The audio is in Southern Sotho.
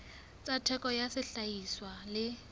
tsa theko ya sehlahiswa le